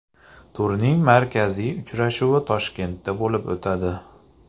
Turning markaziy uchrashuvi Toshkentda bo‘lib o‘tadi.